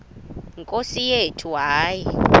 nkosi yethu hayi